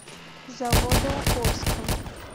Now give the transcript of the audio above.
заводоуковска